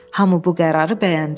Hamı bu qərarı bəyəndi.